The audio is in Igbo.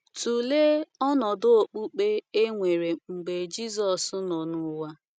Tụlee ọnọdụ okpukpe e nwere mgbe Jisọs nọ n’ụwa.